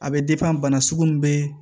A bɛ bana sugu bɛɛ